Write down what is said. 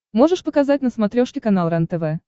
можешь показать на смотрешке канал рентв